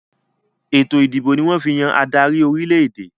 Ètò ìdìbò ni wọ́n fi ń yàn adarí orílẹ̀-èdè